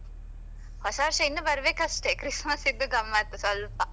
ಹೊಸ ವರ್ಷ ಇನ್ನು ಬರಬೇಕಷ್ಟೆ Christmas ದ್ದು ಗಮ್ಮತ್ ಸ್ವಲ್ಪ.